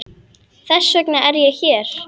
Þess vegna er ég hér.